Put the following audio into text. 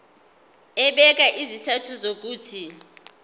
ebeka izizathu zokuthi